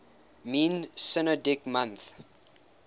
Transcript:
mean synodic month